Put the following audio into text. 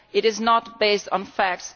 It is not based on facts